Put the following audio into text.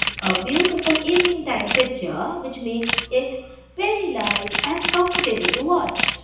is a beautiful evening time picture which makes it very light and comfortable to watch.